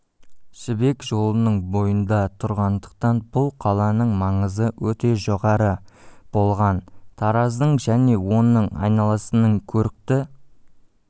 жібек жолының бойында тұрғандықтан бұл қаланың маңызы өте жоғары болған тараздың және оның айналасының көрікті